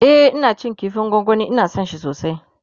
e Ina cin kifin gwangwani Ina San shi sosai